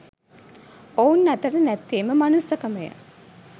ඔවුන් අතර නැත්තේම මනුස්සකම ය